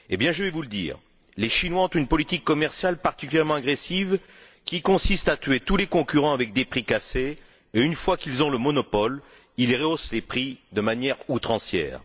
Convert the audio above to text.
Je vais vous le dire les Chinois ont une politique commerciale particulièrement agressive qui consiste à tuer tous les concurrents avec des prix cassés et, une fois qu'ils ont le monopole, à rehausser les prix de manière outrancière.